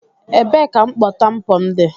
Ebee ka mkpọ tampon dị?